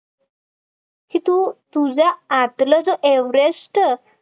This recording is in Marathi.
की तू तुझ्या आतला जे एव्हरेस्ट